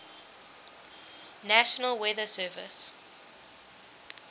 national weather service